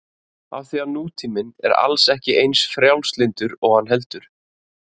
Af því að nútíminn er alls ekki eins frjálslyndur og hann heldur.